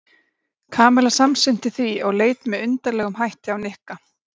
Kamilla samsinnti því og leit með undarlegum hætti á Nikka.